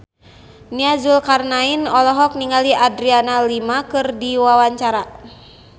Nia Zulkarnaen olohok ningali Adriana Lima keur diwawancara